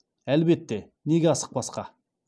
әлбетте неге асықпасқа